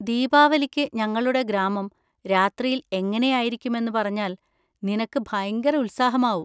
ദീപാവലിക്ക് ഞങ്ങളുടെ ഗ്രാമം രാത്രിയിൽ എങ്ങനെയായിരുക്കുമെന്ന് പറഞ്ഞാൽ നിനക്ക് ഭയങ്കര ഉത്സാഹമാകും.